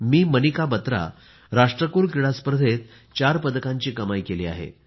मी मनिका बत्रा राष्ट्रकुल क्रीडा स्पर्धेत 4 पदकांची कमाई केली आहे